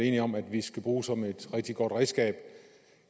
enige om at vi skal bruge som et rigtig godt redskab